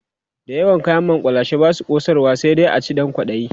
da yawan kayan makullashe Basu kosarwa sai dai a ci Dan kwaɗayi